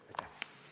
Aitäh!